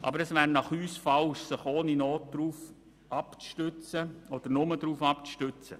Aber aus unserer Sicht wäre es falsch, sich ohne Not nur darauf abzustützen.